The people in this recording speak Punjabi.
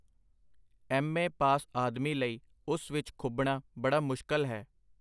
ਐਮ. ਏ. ਪਾਸ ਆਦਮੀ ਲਈ ਉਸ ਵਿਚ ਖੁਭਣਾ ਬੜਾ ਮੁਸ਼ਕਲ ਹੈ.